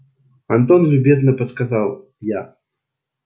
антон любезно подсказал я